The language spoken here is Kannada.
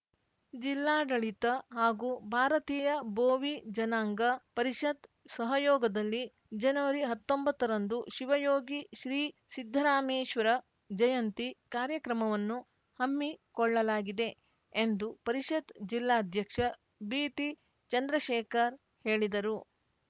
ಜಿಲ್ಲಾಡಳಿತ ಹಾಗೂ ಭಾರತೀಯ ಬೋವಿ ಜನಾಂಗ ಪರಿಷತ್‌ ಸಹಯೋಗದಲ್ಲಿ ಜನವರಿಹತ್ತೊಂಬತ್ತರಂದು ಶಿವಯೋಗಿ ಶ್ರೀ ಸಿದ್ದರಾಮೇಶ್ವರ ಜಯಂತಿ ಕಾರ್ಯಕ್ರಮವನ್ನು ಹಮ್ಮಿಕೊಳ್ಳಲಾಗಿದೆ ಎಂದು ಪರಿಷತ್‌ ಜಿಲ್ಲಾಧ್ಯಕ್ಷ ಬಿಟಿಚಂದ್ರಶೇಖರ್‌ ಹೇಳಿದರು